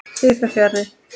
Því fer fjarri.